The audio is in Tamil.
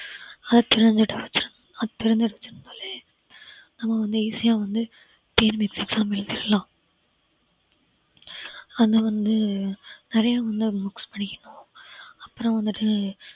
அது தெரிஞ்சிருச்சினாலே நாம வந்து easy அ வந்து TNPSC exam எழுதிறலாம் ஆனா வந்து நெறைய வந்து books படிக்கணும் அப்புறம் வந்துட்டு